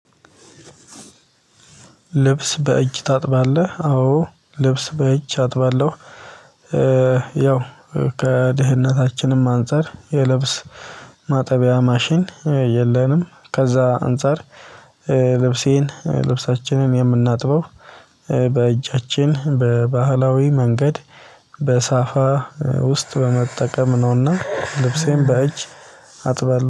ልብስ በእጅ ታጥባለህ አዎ ልብስ በእጅ አጥባለሁ። ያው ከድህነታችንም አንፃር የልብስ ማጠቢያ ማሽን የለንም። ከዛ አንፃር ልብሴን ልብሳችንን የምናጥበው በእጃችን በባህላዊ መንገድ በሳፋ ውስጥ በመጠቀም ነውና ልብሴን በእጅ አጥባለሁ